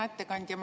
Hea ettekandja!